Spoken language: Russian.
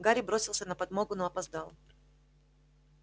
гарри бросился на подмогу но опоздал